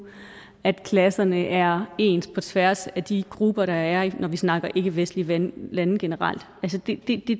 er klasserne er ens på tværs af de grupper der er når vi snakker ikkevestlige lande lande generelt det